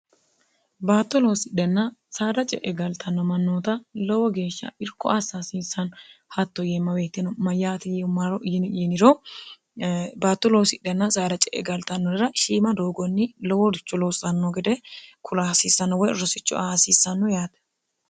batto loosidhnna saara ce'e galtanno mannoota lowo geeshsha irko assahasiissanno hatto yeemma weetino ma yaati y maro yini yiniro batto loosidhenna saara ce e galxannorera shiima doogonni loworicho loossanno gede kulahasiissanno woy rossicho ahasiissanno yaate